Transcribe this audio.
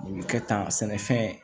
Nin bɛ kɛ tan sɛnɛfɛn